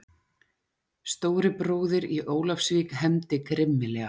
Stóri bróðir í Ólafsvík hefndi grimmilega!